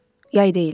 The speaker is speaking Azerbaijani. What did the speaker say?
Yay deyildi.